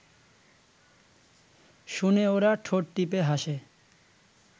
শুনে ওরা ঠোঁট টিপে হাসে